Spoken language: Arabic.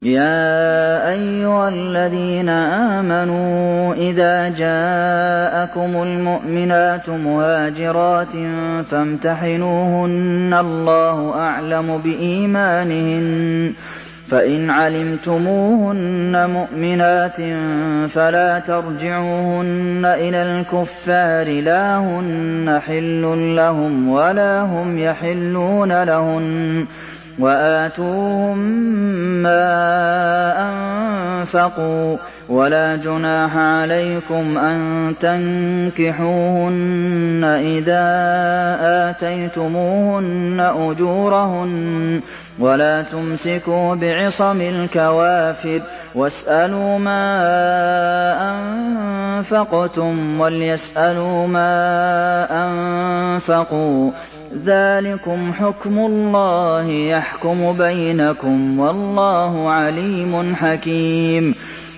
يَا أَيُّهَا الَّذِينَ آمَنُوا إِذَا جَاءَكُمُ الْمُؤْمِنَاتُ مُهَاجِرَاتٍ فَامْتَحِنُوهُنَّ ۖ اللَّهُ أَعْلَمُ بِإِيمَانِهِنَّ ۖ فَإِنْ عَلِمْتُمُوهُنَّ مُؤْمِنَاتٍ فَلَا تَرْجِعُوهُنَّ إِلَى الْكُفَّارِ ۖ لَا هُنَّ حِلٌّ لَّهُمْ وَلَا هُمْ يَحِلُّونَ لَهُنَّ ۖ وَآتُوهُم مَّا أَنفَقُوا ۚ وَلَا جُنَاحَ عَلَيْكُمْ أَن تَنكِحُوهُنَّ إِذَا آتَيْتُمُوهُنَّ أُجُورَهُنَّ ۚ وَلَا تُمْسِكُوا بِعِصَمِ الْكَوَافِرِ وَاسْأَلُوا مَا أَنفَقْتُمْ وَلْيَسْأَلُوا مَا أَنفَقُوا ۚ ذَٰلِكُمْ حُكْمُ اللَّهِ ۖ يَحْكُمُ بَيْنَكُمْ ۚ وَاللَّهُ عَلِيمٌ حَكِيمٌ